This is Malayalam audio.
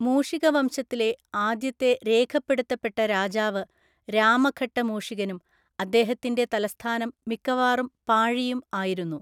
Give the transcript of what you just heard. മൂഷികവംശത്തിലെ ആദ്യത്തെ രേഖപ്പെടുത്തപ്പെട്ട രാജാവ് രാമഘട്ടമൂഷികനും അദ്ദേഹത്തിൻ്റെ തലസ്ഥാനം മിക്കവാറും പാഴിയും ആയിരുന്നു.